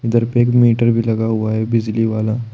घर पे एक मीटर भी लगा हुआ है बिजली वाला।